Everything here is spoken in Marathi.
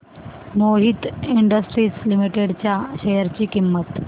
मोहित इंडस्ट्रीज लिमिटेड च्या शेअर ची किंमत